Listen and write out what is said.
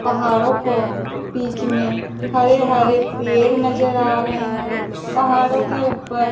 पहाड़ों को बीच में हरे हरे पेड़ नजर आ रहे हैं पहाड़ों के ऊपर--